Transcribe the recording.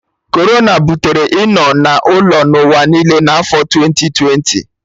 Corona butere ịnọ na ụlọ n'ụwa niile na afo twenti twenti